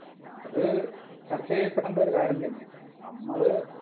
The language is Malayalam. അത് ചർച്ച ചെയ്യപ്പെടേണ്ട ഒരു കാര്യം തന്നെ നമ്മള്